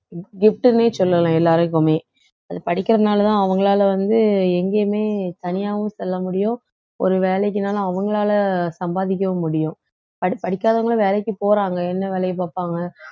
gift ன்னே சொல்லலாம் எல்லாருக்குமே அது படிக்கிறதுனாலதான் அவங்களால வந்து எங்கேயுமே தனியாவும் செல்ல முடியும் ஒரு வேலைக்குன்னாலும் அவங்களால சம்பாதிக்கவும் முடியும் படி~ படிக்காதவங்களும் வேலைக்கு போறாங்க என்ன வேலையை பார்ப்பாங்க